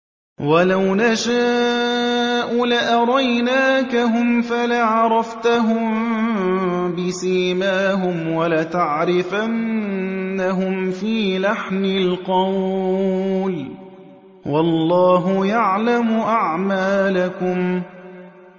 وَلَوْ نَشَاءُ لَأَرَيْنَاكَهُمْ فَلَعَرَفْتَهُم بِسِيمَاهُمْ ۚ وَلَتَعْرِفَنَّهُمْ فِي لَحْنِ الْقَوْلِ ۚ وَاللَّهُ يَعْلَمُ أَعْمَالَكُمْ